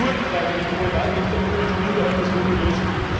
Die Kurdenfrage, die Problematik der kurdischen Minderheit ist ungelöst.